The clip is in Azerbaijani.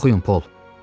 Oxuyun, Pol!